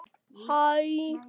Þú ert enginn engill.